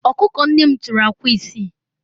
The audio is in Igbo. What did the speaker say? ọkụkọ nne m tọrọ akwa isii